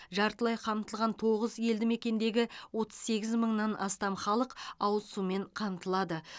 жартылай қамтылған тоғыз елді мекендегі отыз сегіз мыңнан астам халық ауыз сумен қамтылады